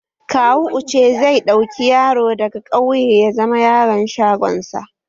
Kawo Uche zai ɗauki yaro daga ƙauye ya zama yaron shagon sa